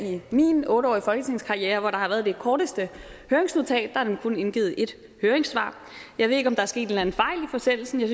i min otte årige folketingskarriere hvor der har været det korteste høringsnotat der er nemlig kun indgivet ét høringssvar jeg ved ikke om der er sket en eller anden fejl i forsendelsen jeg